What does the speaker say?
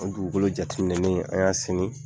O dugukolo jateminɛni an y'a senin